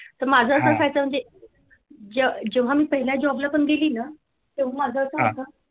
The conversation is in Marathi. तर माझं कसं व्हायचं म्हणजे मी जेव्हा मी पहिल्या job ला गेली ना तेव्हा माझं असं होतं.